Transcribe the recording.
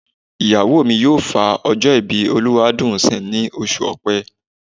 Ìyàwó mi yóò fa ọjọ́ ìbí Olúwadùnńsìn ní oṣù Ọ̀pẹ.